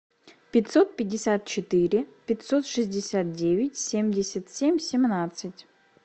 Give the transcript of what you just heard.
пятьсот пятьдесят четыре пятьсот шестьдесят девять семьдесят семь семнадцать